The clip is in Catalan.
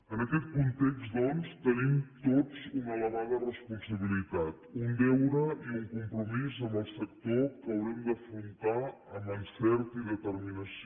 en aquest context doncs tenim tots una elevada responsabilitat un deure i un compromís amb el sector que haurem d’afrontar amb encert i determinació